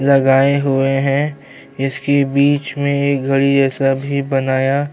لگاہے ہوئے ہے۔ اسکے بیچ مے ایک گہڈی جیسا بھی بنایا--